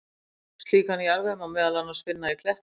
Slíkan jarðveg má meðal annars finna í klettum.